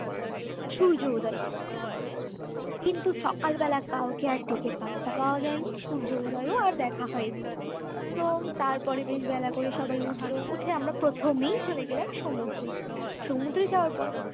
সূর্য উদয় দেখতে কিন্তু সকালবেলা কাউকে আর ডেকে পাত্তা পাওয়া যায়নি সূর্য উদয় আর দেখা হয়নি। তো তারপরে বেশ বেলা করেই সবাই উঠলো উঠে আমরা প্রথমেই চলে গেলাম সমুদ্রে সমুদ্রে যাওয়ার পর